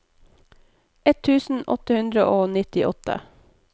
ett tusen åtte hundre og nittiåtte